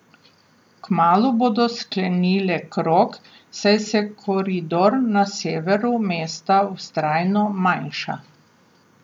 Kmalu bodo sklenile krog, saj se koridor na severu mesta vztrajno manjša.